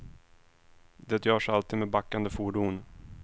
Det görs alltid med backande fordon.